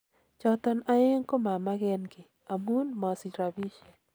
"Choton aeng komamagenki, amun mosich rapishek.